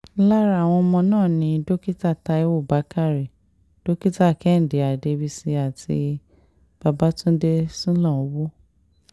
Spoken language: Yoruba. lára àwọn ọmọ náà ni dókítà táiwo bàkárẹ́ dókítà kẹ́hìndé adébísí àti babatúndé sulanowo